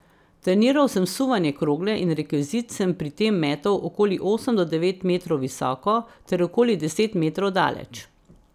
Treniral sem suvanje krogle in rekvizit sem pri tem metal okoli osem do devet metrov visoko ter okoli deset metrov daleč.